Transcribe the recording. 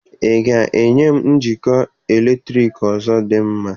Ị ga-enye m njikọ eletriki ọzọ dị mma?